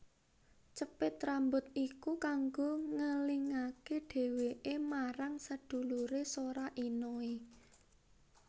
Cepit rambut iku kanggo ngelingake dheweke marang sedulure Sora Inoe